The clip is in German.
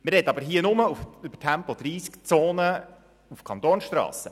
Wir reden hier aber nur über Tempo-30-Zonen auf Kantonsstrassen.